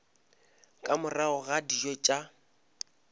ka morago ga dijo tša